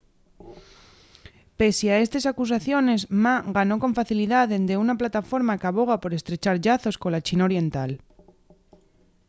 pesie a estes acusaciones ma ganó con facilidá dende una plataforma qu’aboga por estrechar llazos cola china continental